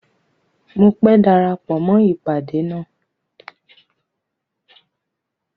Mọ pé dárápọ̀ mọ ipádé ná.